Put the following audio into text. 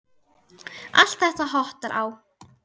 Allt þetta hottar á.